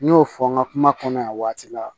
N y'o fɔ n ka kuma kɔnɔ yan waati la